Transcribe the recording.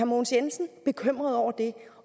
mogens jensen bekymret over det